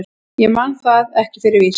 Ég man það ekki fyrir víst.